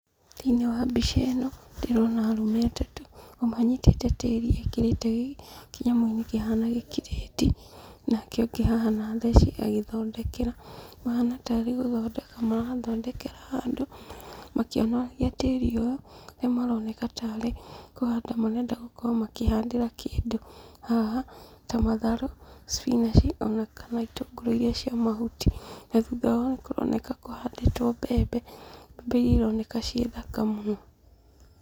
Thĩiniĩ wa mbica ĩno ndĩrona arũme atatũ, ũmwe anyitĩte tĩri ekĩrĩte kĩnyamũ-inĩ kĩhana gĩkirĩti, nake ũngĩ haha na theci agĩthondekera. Mahana tarĩ gũthondeka marathondekera handũ, makĩonoragia tĩri ũyũ na maroneka tarĩ kũhanda marenda gũkorwo makĩhandĩra kĩndũ. Haha ta matharũ, spinach ona kana itũngũrũ iria cia mahuti. Na thutha wa hau kũroneka kũhandĩtwo mbembe, mbembe iria ironeka ciĩ thaka mũno.